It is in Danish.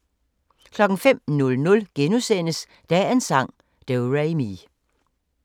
05:00: Dagens sang: Do-re-mi *